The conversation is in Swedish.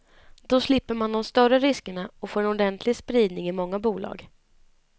Då slipper man de större riskerna och får en ordentlig spridning i många bolag.